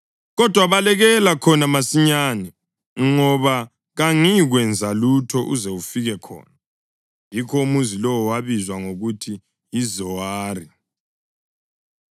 Kodwa balekela khona masinyane, ngoba kangiyikwenza lutho uze ufike khona.” (Yikho umuzi lowo wabizwa ngokuthi yiZowari.)